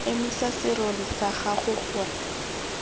emisa serori sa gago gore